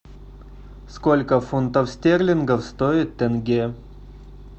сколько фунтов стерлингов стоит тенге